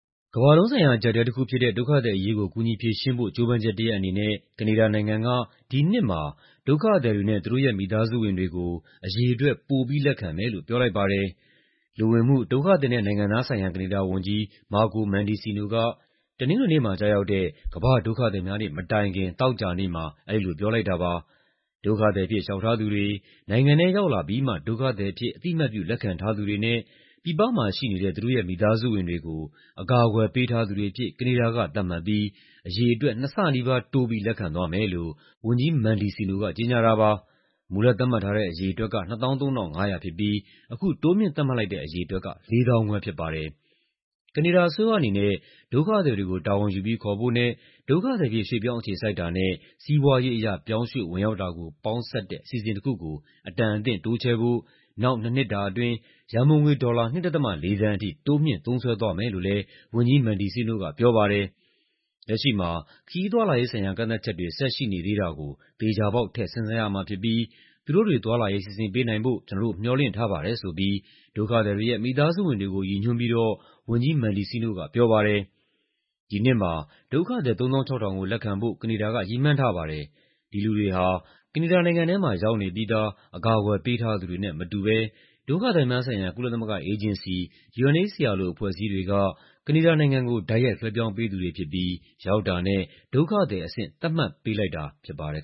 ကမ္ဘာလုံးဆိုင်ရာ အကျပ်အတည်းတခုဖြစ်တဲ့ ဒုက္ခသည်အရေးကို ကူညီဖြေရှင်းဖို့ ကြိုးပမ်းချက်တရပ်အနေနဲ့ ကနေဒါနိုင်ငံက ဒီနှစ်မှာ ဒုက္ခသည်တွေနဲ့ သူတို့ရဲ့ မိသားစုဝင်တွေကို အရေအတွက် ပိုပြီးလက်ခံမယ်လို့ ပြောလိုက်ပါတယ်။ လူဝင်မှု၊ ဒုက္ခသည်နဲ့ နိုင်ငံသားဆိုင်ရာ ကနေဒါဝန်ကြီး Marco Mendicino က တနင်္ဂနွေနေ့မှာ ကျရောက်တဲ့ ကမ္ဘာ့ဒုက္ခသည်များနေ့ မတိုင်ခင် သောကြာနေ့မှာ အဲဒီလို ပြောလိုက်တာပါ။ ဒုက္ခသည်အဖြစ် လျှောက်ထားသူတွေ၊ နိုင်ငံထဲရောက်လာပြီးမှ ဒုက္ခသည်အဖြစ် အသိအမှတ်ပြု လက်ခံထားသူတွေနဲ့ ပြည်ပမှာရှိနေတဲ့ သူတို့ရဲ့ မိသားစုဝင်တွေကို အကာအကွယ် ပေးထားသူတွေအဖြစ် ကနေဒါက သတ်မှတ်ပြီး အရေအတွက် နှစ်ဆနီးပါးတိုးပြီး လက်ခံသွားမယ်လို့ ဝန်ကြီး Mendicino က ကြေညာတာပါ။ မူလသတ်မှတ်ထားတဲ့ အရေအတွက်က ၂၃,၅၀၀ ဖြစ်ပြီး အခုတိုးမြှင့်သတ်မှတ်လိုက်တဲ့ အရေအတွက်က ၄၅,၀၀၀ ဖြစ်ပါတယ်။ ကနေဒါအစိုးရအနေနဲ့ ဒုက္ခသည်တွေကို တာဝန်ယူပြီး ခေါ်ဖို့နဲ့ ဒုက္ခသည်အဖြစ် ရွှေ့ပြောင်းအခြေစိုက်တာနဲ့ စီးပွားရေးအရ ပြောင်းရွှေ့ဝင်ရောက်တာကို ပေါင်းစပ်တဲ့ အစီအစဉ်တခုကို အတန်အသင့်တိုးချဲ့ဖို့ နောက် ၂ နှစ်တာအတွင်း ရန်ပုံငွေ ဒေါ်လာ ၂.၄ သန်းထိ တိုးမြှင့်သုံးစွဲသွားမယ်လို့လည်း ဝန်ကြီး Mendicino က ပြောပါတယ်။ "လက်ရှိမှာ ခရီးသွားလာရေးဆိုင်ရာ ကန့်သတ်ချက်တွေ ဆက်ရှိနေသေးတာကို သေချာပေါက် ထည့်စဉ်းစားရမှာဖြစ်ပြီး သူတို့တွေ သွားလာရေး စီစဉ်ပေးနိုင်ဖို့ ကျနော်တို့ မျှော်လင့်ထားပါတယ်" ဆိုပြီး ဒုက္ခသည်တွေရဲ့ မိသားစုဝင်တွေကို ရည်ညွှန်းပြီးတော့ ဝန်ကြီး Mendicino က ပြောသွားပါတယ်။ ဒီနှစ်မှာ ဒုက္ခသည် ၃၆,၀၀၀ ကို လက်ခံဖို့ ကနေဒါက ရည်မှန်းထားပါတယ်။ ဒီလူတွေဟာ ကနေဒါနိုင်ငံထဲမှာ ရောက်နေပြီးသား အကာအကွယ် ပေးထားသူတွေနဲ့ မတူဘဲ ဒုက္ခသည်များဆိုင်ရာ ကုလသမဂ္ဂအေဂျင်စီ (UNHCR) လို အဖွဲ့အစည်းတွေက ကနေဒါနိုင်ငံကို တိုက်ရိုက်လွှဲပြောင်းပေးသူတွေဖြစ်ပြီး ရောက်တာနဲ့ ဒုက္ခသည်အဆင့် သတ်မှတ်ပေးလိုက်တာ ဖြစ်ပါတယ်